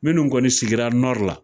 Minnu kɔni sigira Nɔri la